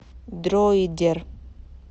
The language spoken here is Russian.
дроидер